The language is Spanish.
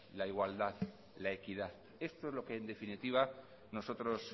la igualdad la equidad esto es lo que en definitiva nosotros